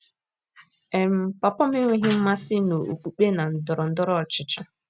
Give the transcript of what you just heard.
um Papa m enweghị mmasị n’okpukpe na ndọrọ ndọrọ ọchịchị.